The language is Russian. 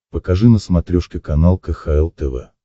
покажи на смотрешке канал кхл тв